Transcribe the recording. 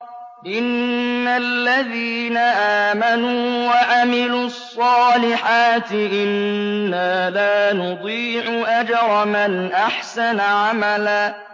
إِنَّ الَّذِينَ آمَنُوا وَعَمِلُوا الصَّالِحَاتِ إِنَّا لَا نُضِيعُ أَجْرَ مَنْ أَحْسَنَ عَمَلًا